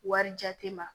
Wari jate ma